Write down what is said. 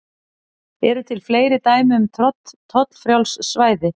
Eru til fleiri dæmi um tollfrjáls svæði?